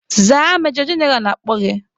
Zaa majọ jeneral na-akpọ gị!